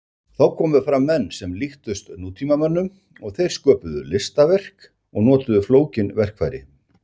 Þá komu fram menn sem líktust nútímamönnum og þeir sköpuðu listaverk og notuðu flókin verkfæri.